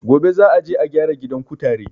Gobe za a je a gyara gidan kutare